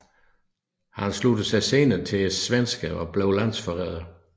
Han sluttede sig senere til svenskerne og blev landsforræder